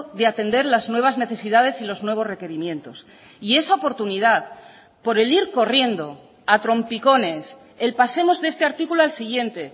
de atender las nuevas necesidades y los nuevos requerimientos y esa oportunidad por el ir corriendo a trompicones el pasemos de este artículo al siguiente